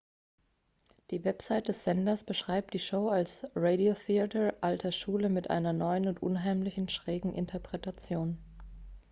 die website des senders beschreibt die show als radiotheater alter schule mit einer neuen und unheimlichen schrägen interpretation